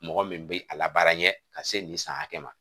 Mɔgɔ min bi a labaara i ye ka se nin san hakɛ ma.